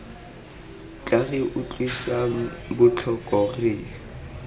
tla re utlwisang botlhoko re